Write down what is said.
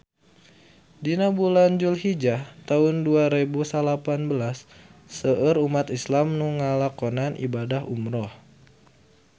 Dina bulan Julhijah taun dua rebu salapan belas seueur umat islam nu ngalakonan ibadah umrah